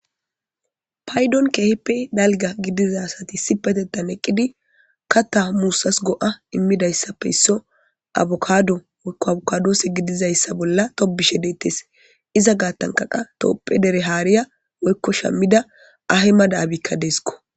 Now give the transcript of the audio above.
paydon keeheppe dalga gidizasati si petetan eqqidi kata muussas go7a immidayssapfe isso abukado moykko abokadoose gidizayssa bolla tobishe deettes iza gaattankaqa toopphe dere haariya woykko shammida ahe ma daabikka deeskko